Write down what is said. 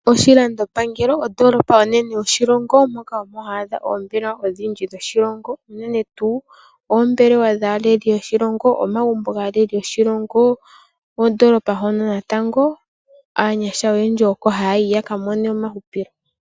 Oshilandopangelo ondoolopa onene yoshilongo moka oha adha oondhila oonene dhoshilongo unene tuu oombelewa dhaaleli yoshilongo, omagumbo gaaleli yoshilongo. Ondoloopa wo ndjoka aanyasha ha ya yi yakakonge omauhupilo.